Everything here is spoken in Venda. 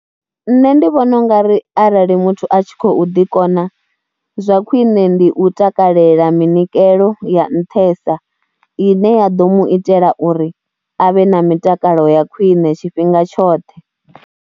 Nṋe ndi vhona u nga ri arali muthu a tshi khou ḓikona zwa khwine ndi u takalela minikelo ya nṱhesa ine ya ḓo mu itela uri a vhe na mitakalo ya khwine tshifhinga tshoṱhe ane.